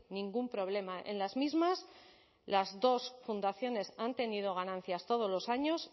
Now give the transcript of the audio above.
ningún problema en las mismas las dos fundaciones han tenido ganancias todos los años